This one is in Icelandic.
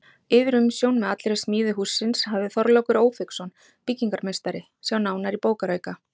Yfirumsjón með allri smíði hússins hafði Þorlákur Ófeigsson, byggingarmeistari, sjá nánar í bókarauka.